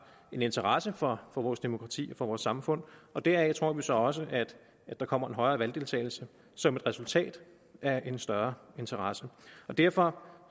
en interesse for vores demokrati og for vores samfund og deraf tror vi så også at der kommer en højere valgdeltagelse som et resultat af en større interesse derfor